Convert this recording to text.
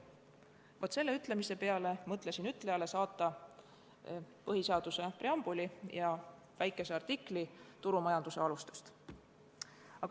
Vaat selle ütlemise peale mõtlesin ütlejale saata põhiseaduse preambuli ja väikese artikli turumajanduse alustest.